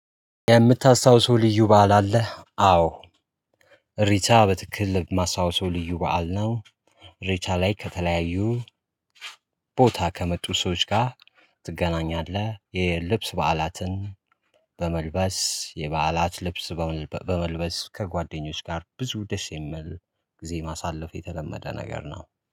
የምታስታውሰው ልዩ በዓል አለህ? አዎ። ሪቻ በትክክል የማስታወሰው ልዩ በዓል ነው። እሬቻ ላይ ከተለያዩ ቦታ ከመጡ ሰዎች ጋር ትገናኛለህ? የልብስ በዓላትን በመልበስ የበዓላት ልብስ በመልበስ ከጓደኞች ጋር ብዙ ደስ የሚል ጊዜ ማሳለፍ የተለመደ ነገር ነው